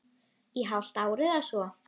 Í hálft ár eða svo.